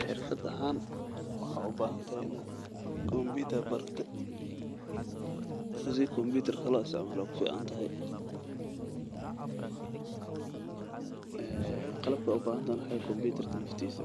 Xirfad ahaan waxaad ubahan tahay inaad barate sida loo isticmaala ayeey ku fican tahay qalab ahaan waxaad ubahan tahay kompitarka naftiida